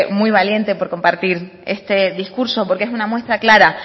muy valiente por compartir este discurso porque es una muestra clara